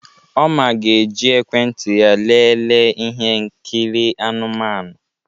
Oma ga-eji ekwentị ya lelee ihe nkiri anụmanụ.